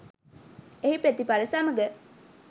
එහි ප්‍රතිඵල සමග